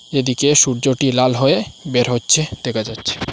এদিকে সূর্যটি লাল হয়ে বের হচ্ছে দেখা যাচ্ছে।